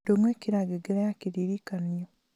ndũng'ũ ĩkĩra ngengere ya kĩririkanio